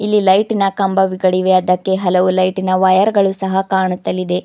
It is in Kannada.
ಇಲ್ಲಿ ಲೈಟಿ ನ ಕಂಬಗಳಿವೆ ಅದಕ್ಕೆ ಹಲವು ಲೈಟಿ ನ ವೈರ್ ಗಳು ಸಹ ಕಾಣುತ್ತಲಿದೆ.